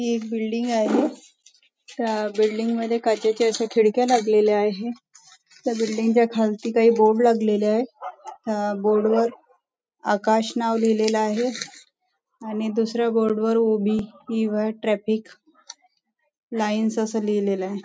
हि एक बिल्डिंग आहे त्या बिल्डिंग मध्ये काचेच्या अश्या खिडक्या लागलेल्या आहेत त्या बिल्डिंग च्या खालती काही बोर्ड लागलेले आहेत अ अ त्या बोर्ड वर आकाश नाव लिहलेलं आहे आणि दुसऱ्या बोर्ड वर ओबेय युवर ट्रॅफिक लाईन्स असं लिहलेलं आहे.